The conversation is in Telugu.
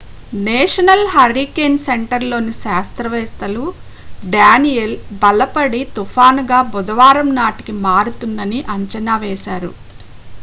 నేషనల్ హరికేన్ సెంటర్లోని శాస్త్రవేత్తలు డేనియల్ బలపడి తుఫానుగా బుధవారం నాటికి మారుతుందని అంచనా వేశారు